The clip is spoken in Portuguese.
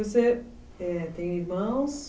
Você, é, tem irmãos?